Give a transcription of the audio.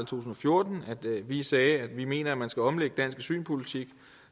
tusind og fjorten at vi sagde at vi mener at man skal omlægge dansk asylpolitik